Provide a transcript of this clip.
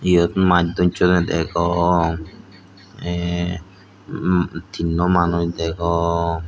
iyot maaj dossonney degong eh um tinno manuj degong.